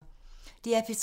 DR P3